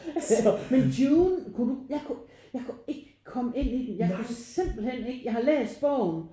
Men Dune kunne du jeg kunne jeg kunne ikke komme ind i den jeg kunne simpelthen ikke jeg har læst bogen